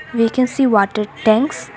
We can see water tanks.